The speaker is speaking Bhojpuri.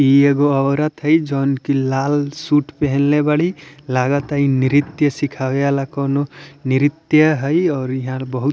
इ एगो औरत है जोन की लाल सूट पहेनले बाड़ी लागता ये नृत्य सीखावे वाला कोनो नृत्य हई और इहार बहुत --